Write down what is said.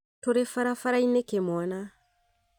Tũrĩ barabara-inĩ kĩmwana